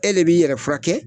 E de bi yɛrɛ furakɛ